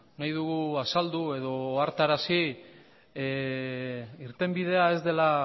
nahi dugu azaldu edo ohartarazi irtenbidea ez dela